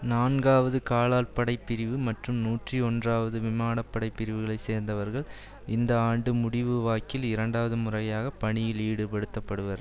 நான்காவது காலாட்படைப்பிரிவு மற்றும் நூற்றி ஒன்றாவது விமனப்படை பிரிவுகளை சேர்ந்தவர்கள் இந்த ஆண்டு முடிவு வாக்கில் இரண்டாவது முறையாக பணியில் ஈடுபடுத்தப்படுவர்